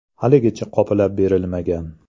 Haligacha qoplab berilmagan.